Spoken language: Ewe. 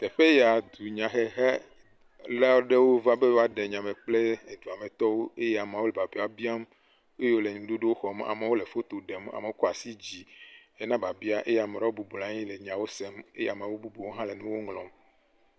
Teƒe yaa, dunyahehela aɖewo va be yewoaɖe nyame kple eduametɔwo eye ameawo le biabia biam eye wole ŋuɖoɖowo xɔm. Amewo le foto ɖem. Amewo kɔ asi dzii hena biabia eye ame aɖewo bɔblɔ anyi le nyawo sem eye ame bubu ɖewo hã le nuwo ŋlɔm.